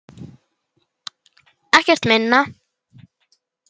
Ekkert minna.